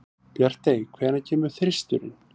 Bjartey, hvenær kemur þristurinn?